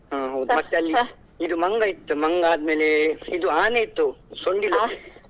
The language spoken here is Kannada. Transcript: ಹ್ಮ್‌ ಹೌದು ಮತ್ತೆ ಅಲ್ಲಿ ಇದು ಮಂಗ ಇತ್ತು ಮಂಗ ಆದ್ಮೇಲೆ ಇದು ಆನೆ ಇತ್ತು ಸೊಂಡಿಲು.